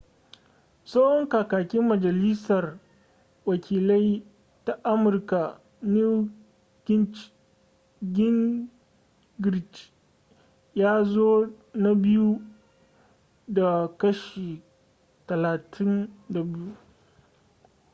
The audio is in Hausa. tsohon kakakin majalisar wakilai ta amurka newt gingrich ya zo na biyu da kashi 32